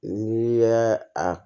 N'i y'a a